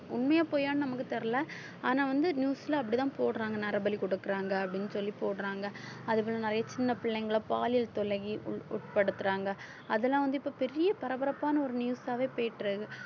உண்மையா பொய்யான்னு நமக்கு தெரியல ஆனா வந்து news ல அப்படித்தான் போடுறாங்க நரபலி கொடுக்குறாங்க அப்படின்னு சொல்லி போடுறாங்க அது போல நிறைய சின்ன பிள்ளைங்களை பாலியல் தொல்லைக்கு உட்~ உட்படுத்துறாங்க அதெல்லாம் வந்து இப்ப பெரிய பரபரப்பான ஒரு news ஆவே போயிட்டு இருக்கு